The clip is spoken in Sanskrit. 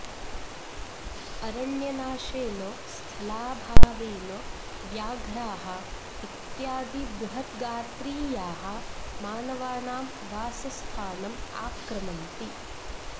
अरण्यनाशेन स्थलाभावेन व्याघ्राः इत्यादि बृहत्गात्रीयाः मानवानां वासस्थानम् आक्रमन्ति